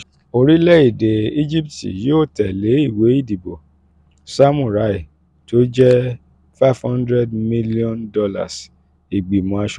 orílẹ̀-èdè íjíbítì yóò tẹ̀lé ìwé ìdìbò samurai tó jẹ́ five hundred million dollars: ìgbìmọ̀ aṣòfin